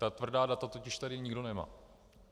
Ta tvrdá data tady totiž nikdo nemá.